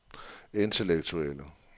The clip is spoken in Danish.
intellektuelle